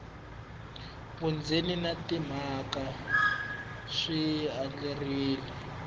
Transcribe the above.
vundzeni na timhaka swi andlariwile